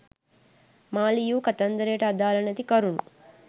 මා ලියූ කතන්දරයට අදාල නැති කරුණු